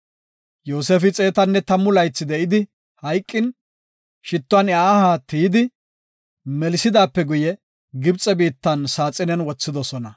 Yoosefi xeetanne tammu laythi de7idi hayqin, shittuwan iya aha tiyidi melisidaape guye, Gibxe biittan saaxinen wothidosona.